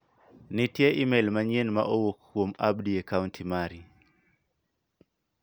Nitiere imel manyien ma owuok kuom Abdi e a kaunt mari.